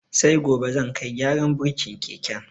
Sai gobe zan kai gyaran burkin keken.